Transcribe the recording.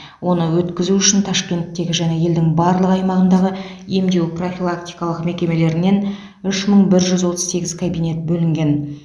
оны өткізу үшін ташкенттегі және елдің барлық аймағындағы емдеу профилактикалық мекемелерінен үш мың бір жүз отыз сегіз кабинет бөлінген